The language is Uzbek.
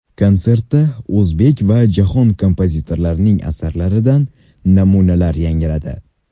Konsertda o‘zbek va jahon kompozitorlarining asarlaridan namunalar yangradi.